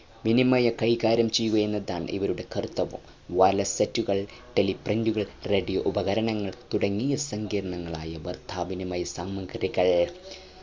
വിനിമയം കൈകാര്യം ചെയ്യുക എന്നതാണ് ഇവരുടെ കർത്തവ്യം wire less set കൾ teleprint ഉകൾ radio ഉപകരണങ്ങൾ തുടങ്ങിയ സങ്കീർണങ്ങളായ വാർത്ത വിനിമയ സാമഗ്രികൾ